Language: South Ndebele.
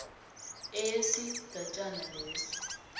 e yesigatjana leso